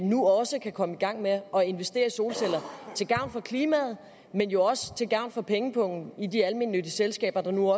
nu også kan komme i gang med at investere i solceller til gavn for klimaet men jo også til gavn for pengepungen i de almennyttige selskaber der nu